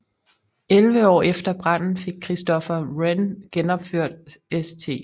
Elleve år efter branden fik Christopher Wren genopført St